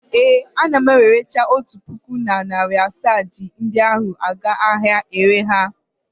Ee, ana m ewerecha otu puku na narị asaa ji ndi ahụ aga n'ahịa ịre ha.